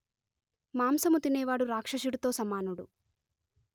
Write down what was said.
మాంసము తినే వాడు రాక్షసుడితో సమానుడు